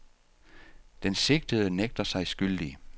Den sigtede nægter sig skyldig.